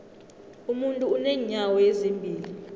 umuntu unenyawo ezimbili